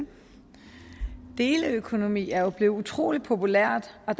deleøkonomi er jo blevet utrolig populært og